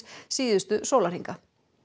síðustu sólarhringa